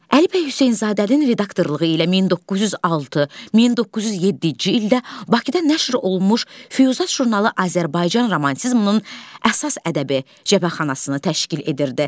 Əli bəy Hüseynzadənin redaktorluğu ilə 1906-1907-ci ildə Bakıda nəşr olunmuş "Füyuzat" jurnalı Azərbaycan romantizminin əsas ədəbi cəbhəxanasını təşkil edirdi.